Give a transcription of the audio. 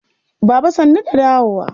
Baba sannu da dawowa.